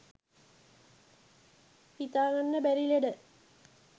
හිතාගන්න බැරි ලෙඩ